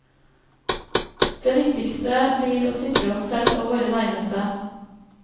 Det viktigste blir å sikre oss selv og våre nærmeste.